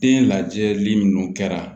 Den lajɛli minnu kɛra